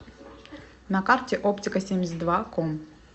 на карте оптикасемьдесятдваком